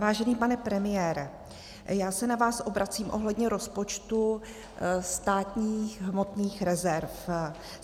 Vážený pane premiére, já se na vás obracím ohledně rozpočtu státních hmotných rezerv.